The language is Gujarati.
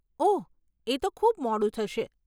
ઓહ, એ તો ખૂબ મોડું થશે.